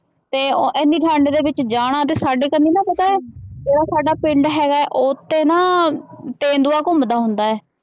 ਤੇ ਇੰਨੀ ਠੰਢ ਦੇ ਵਿੱਚ ਜਾਣਾ ਤੇ ਸਾਡੇ ਤੈਨੂੰ ਨਾ ਪਤਾ ਉਹ ਸਾਡਾ ਪਿੰਡ ਹੈਗਾ ਹੈ ਉੱਥੇ ਨਾ ਤੇਂਦੂਆ ਘੁੰਮਦਾ ਹੁੰਦਾ ਹੈ।